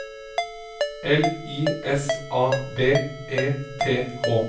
L I S A B E T H